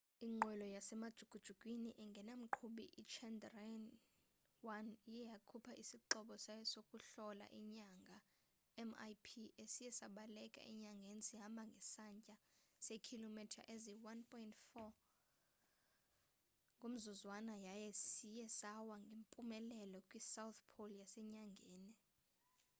inqwelo yasemajukujukwini engena mqhubi ichandrayaan-1 iye yakhupha isixhobo sayo sokuhlola inyanga mip esiye sabaleka enyangeni sihamba ngesantya seekhilomitha eziyi-1.5 i-3000 yeemayile ngeyure ngomzuzwana yaye siye sawa ngempumelelo kwi-south pole yasenyangeni